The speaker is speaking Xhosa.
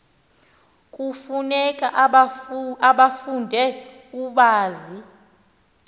kufuneka ubafunde ubazi